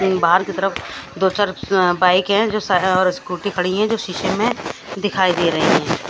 उम बाहर की तरफ दो-चार अ बाइक है जो सा और स्कूटी पड़ी है जो शीशे में दिखाई दे रही है।